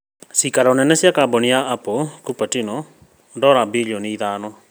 Ciikaro nene cia kambũni ya Apple, Cupertino: dora birioni ithano